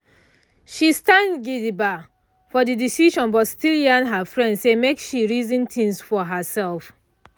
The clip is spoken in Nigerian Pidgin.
she stand gidigba for the decision but still yarn her friend say make she reason things for herself